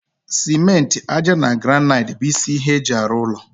simenti, ájá na granaiti bụ isi ihe eji arụ ụlọ